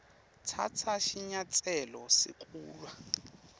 tsatsa sinyatselo sekulwa